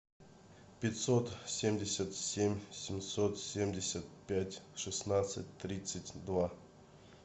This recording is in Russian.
пятьсот семьдесят семь семьсот семьдесят пять шестнадцать тридцать два